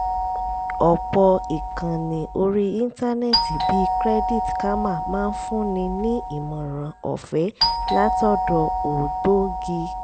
ọ̀pọ̀ ìkànnì orí íńtánẹ́ẹ̀tì bíi credit karma máa ń fúnni ní ìmọ̀ràn ọ̀fẹ̀é látọ̀dọ̀ ògbógi